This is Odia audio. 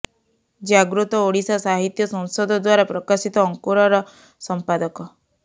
ଜାଗୃତ ଓଡିଶା ସାହିତ୍ୟ ସଂସଦ ଦ୍ୱାରା ପ୍ରକାଶିତ ଅଙ୍କୁରର ସମ୍ପାଦକ